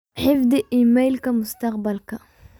xifdi iimaylka mustaqbalka